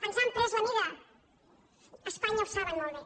ens han pres la mida a espanya ho saben molt bé